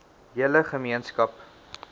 hele ge meenskap